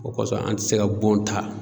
O kɔsɔn an ti se ka bon ta.